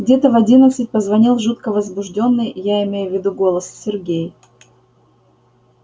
где-то в одиннадцать позвонил жутко возбуждённый я имею в виду голос сергей